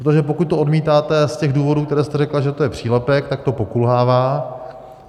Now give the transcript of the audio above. Protože pokud to odmítáte z těch důvodů, které jste řekla, že to je přílepek, tak to pokulhává.